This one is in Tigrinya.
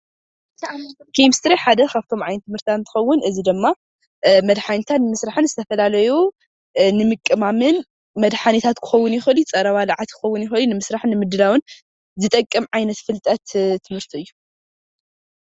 ኬሚስትሪ ሓደ ካብቶም ዓይነት ትምህርትታት እንትኸውን እዚ ድማ መድሓኒታት ብምስራሕን ፣ዝተፈላለዩ ንምቅማምን ፣መድሓኒታትን ክኸውን ይኽእሉ ፀረ ባልዓት ክኾን ይክእሉ፣ ንምስራሕ ንምድላው ዝጠቅም ዓይነት ፍልጠት ትምህርቲ እዩ።